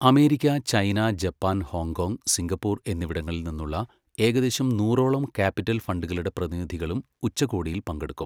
America, China, Japan, Hong Kong, Singapore എന്നിവിടങ്ങളിൽ നിന്നുള്ള ഏകദേശം നൂറോളം ക്യാപിറ്റൽ ഫണ്ടുകളുടെ പ്രതിനിധികളും ഉച്ചകോടിയിൽ പങ്കെടുക്കും.